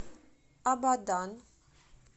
абадан